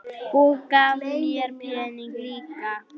Og gaf mér peninga líka.